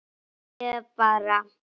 ég bara